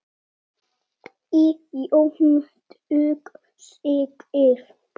Í Jónsbók segir